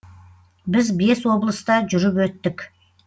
біз бес облыста жүріп өттік